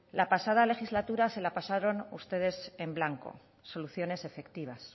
la pasada legislatura se la pasaron ustedes en blanco soluciones efectivas